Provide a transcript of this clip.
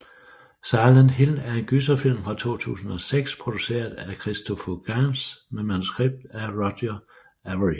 Silent Hill er en gyserfilm fra 2006 produceret af Christophe Gans med manuskript af Roger Avary